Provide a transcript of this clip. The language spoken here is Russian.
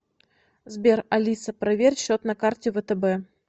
сбер алиса проверь счет на карте втб